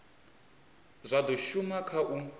zwa do shuma kha u